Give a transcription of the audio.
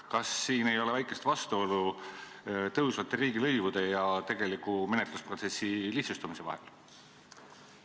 Kas ei ole väikest vastuolu tõusvate riigilõivude ja menetlusprotsessi lihtsustamise vahel?